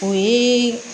O ye